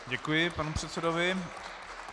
Děkuji panu předsedovi.